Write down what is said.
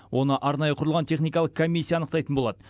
оны арнайы құрылған техникалық комиссия анықтайтын болады